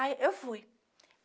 Aí, eu fui.